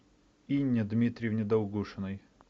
инне дмитриевне долгушиной